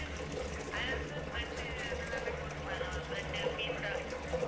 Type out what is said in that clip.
அது வந்து bread அதெல்லாமே போட்டிருப்பாங்க bread உ pizza